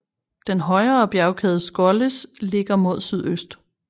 Den højere bjergkæde Skollis ligger mod sydøst